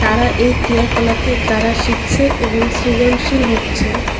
তারা এই ক্রিয়াকলাপের দ্বারা শিখছে এবং সৃজনশীল হচ্ছে।